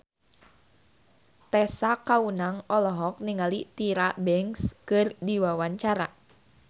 Tessa Kaunang olohok ningali Tyra Banks keur diwawancara